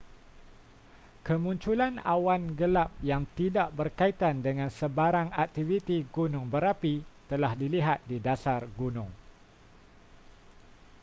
kemunculan awan gelap yang tidak berkaitan dengan sebarang aktiviti gunung berapi telah dilihat di dasar gunung